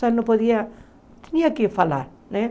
Só não podia... Tinha que falar, né?